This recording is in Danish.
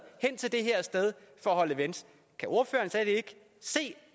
hen til det her sted og holde events kan ordføreren slet ikke se